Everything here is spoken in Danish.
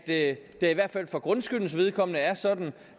at det i hvert fald for grundskyldens vedkommende er sådan